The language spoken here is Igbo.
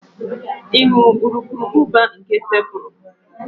Ị hụrụ urukurubụba nke fepụrụ?